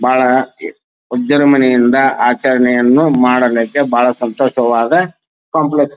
ಬಹಳ ಆಚರಣೆಯನ್ನು ಮಾಡದಕ್ಕೆ ಬಹಳ ಸಂತೋಷವಾದ ಕೋಂಪ್ಲೆಕ್ಸ್ --